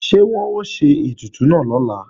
Ṣé wọ́n ó ṣe ètùtù náà lọ́la